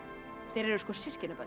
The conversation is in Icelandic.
þeir eru svo systkinabörn